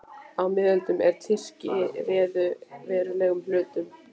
Á miðöldum, er Tyrkir réðu verulegum hluta